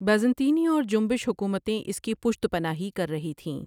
بازطینی اور جنبش حکومتیں اس کی پشت پناهی کر رھی تهیں ۔